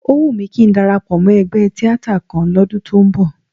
Ó wù mí kí ń darapọ̀ mọ́ ẹgbẹ́ tíátà kan lọ́dún tó ń bọ̀